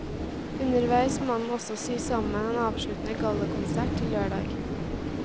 Underveis må han også sy sammen en avsluttende gallakonsert til lørdag.